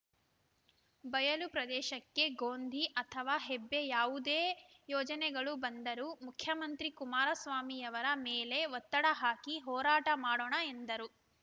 ಬಯಲುಪ್ರದೇಶಕ್ಕೆ ಗೋಂಧಿ ಅಥವಾ ಹೆಬ್ಬೆ ಯಾವುದೇ ಯೋಜನೆಗಳು ಬಂದರೂ ಮುಖ್ಯಮಂತ್ರಿ ಕುಮಾರಸ್ವಾಮಿಯವರ ಮೇಲೆ ಒತ್ತಡ ಹಾಕಿ ಹೋರಾಟ ಮಾಡೋಣ ಎಂದರು